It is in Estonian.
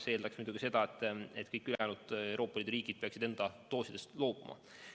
See eeldaks muidugi seda, et kõik ülejäänud Euroopa Liidu riigid peaksid enda doosidest loobuma.